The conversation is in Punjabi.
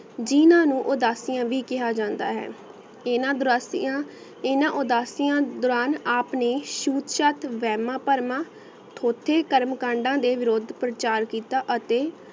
ਜਿਨਾ ਨੂ ਊ ਦਸ ਤਿਯਾ ਵੀ ਕਾਯ੍ਹਾ ਜਾਂਦਾ ਹੈ ਯਨਾ ਬਰਸਿਆ ਯਨਾ ਉਦਾਸਿਯਾ ਦਾਨ ਆਪ ਨੇ ਸੁਸ਼ਾਂਤ ਵੇਰਮਾ ਪਰਮਾ ਟੋਥੀ ਕਰਮ ਕੰਡਾ ਦੇ ਵਿਰੋਧ ਪੁਰ੍ਚਾਰ ਕੀਤਾ ਅਤੀ